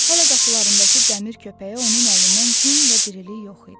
Hələ qapılarındakı dəmir köpəyə onun əlindən gün və dirilik yox idi.